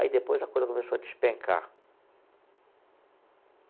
Aí depois a coisa começou a despencar.